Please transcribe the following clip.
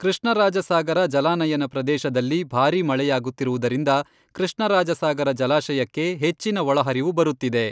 ಕೃಷ್ಣರಾಜಸಾಗರ ಜಲಾನಯನ ಪ್ರದೇಶದಲ್ಲಿ ಭಾರಿ ಮಳೆಯಾಗುತ್ತಿರುವುದರಿಂದ ಕೃಷ್ಣರಾಜಸಾಗರ ಜಲಾಶಯಕ್ಕೆ ಹೆಚ್ಚಿನ ಒಳಹರಿವು ಬರುತ್ತಿದೆ.